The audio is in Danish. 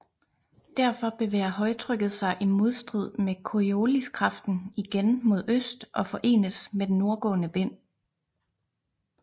Derfor bevæger højtrykket sig i modstrid med corioliskraften igen mod øst og forenes med den nordgående vind